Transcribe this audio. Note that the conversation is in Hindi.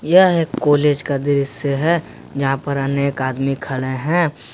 यह है कॉलेज का दृश्य है जहां पर अनेक आदमी खड़े हैं।